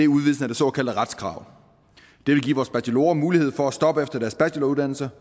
udvidelsen af det såkaldte retskrav det vil give vores bachelorer mulighed for at stoppe efter deres bacheloruddannelse